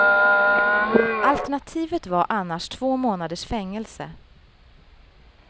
Alternativet var annars två månaders fängelse.